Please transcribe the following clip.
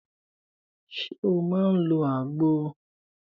Ṣé o máà ń lọ àgbo?